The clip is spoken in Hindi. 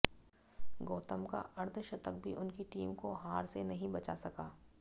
गौतम का अर्धशतक भी उनकी टीम को हार से नहीं बचा सका